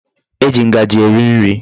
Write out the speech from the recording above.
E ji Ngaji eri nri